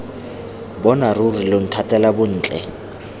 bona ruri lo nthatela bontle